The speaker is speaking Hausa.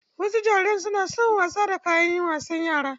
Wasu jarirai suna son wasa da kayan wasan yara.